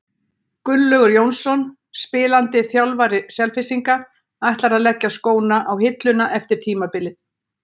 Gunnlaugur Jónsson, spilandi þjálfari Selfyssinga, ætlar að leggja skóna á hilluna eftir tímabilið.